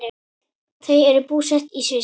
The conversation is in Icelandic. Þau eru búsett í Sviss.